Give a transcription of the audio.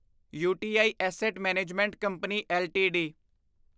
you T I asset management company LTD